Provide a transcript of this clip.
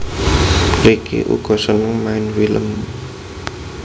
Ricky uga seneng main film